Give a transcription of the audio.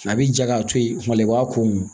A bi ja k'a to yen kuma la i b'a ko mun